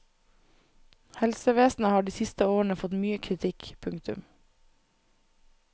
Helsevesenet har de siste årene fått mye kritikk. punktum